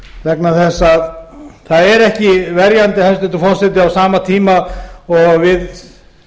vegna þess að það er ekki verjandi hæstvirtur forseti á sama tíma og við